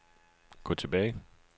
gå tilbage